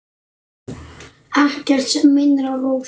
Ekkert sem minnir á Rósu.